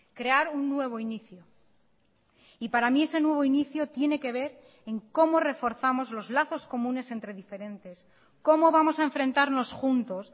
crear un nuevo inicio y para mí ese nuevo inicio tiene que ver en cómo reforzamos los lazos comunes entre diferentes cómo vamos a enfrentarnos juntos